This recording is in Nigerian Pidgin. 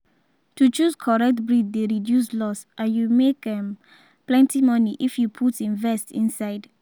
to choose correct breed dey reduce loss and you make um plenty money if you put invest inside.